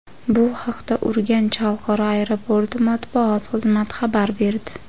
Bu haqda Urganch xalqaro aeroporti matbuot xizmati xabar berdi.